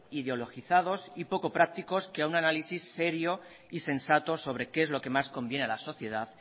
indeologizados y poco prácticos que a un análisis serio y sensato sobre qué es lo que más conviene a la sociedad